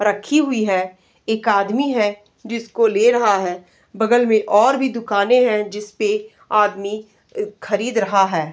रखी हुई है। एक आदमी है जिसको ले रहा है। बगल में और भी दुकानें हैं जिसपे आदमी खरीद रहा है।